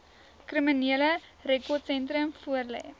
kriminele rekordsentrum voorlê